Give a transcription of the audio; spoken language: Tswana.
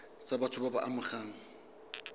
tsa batho ba ba amegang